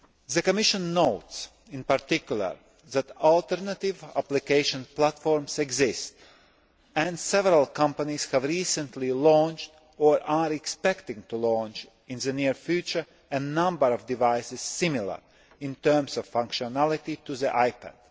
The Commission notes, in particular, that alternative application platforms exist and several companies have recently launched, or are expecting to launch in the near future, a number of devices similar in terms of functionality to the iPad.